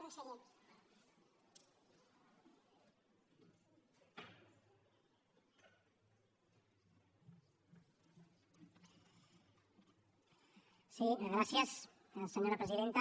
sí gràcies senyora presidenta